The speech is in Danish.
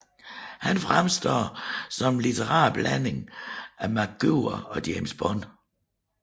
Han fremstår som en litterær blanding af MacGyver og James Bond